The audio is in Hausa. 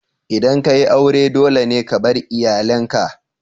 Idan ka yi aure, dole ne ka bar iyalinka.